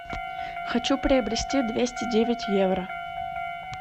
хочу приобрести двести девять евро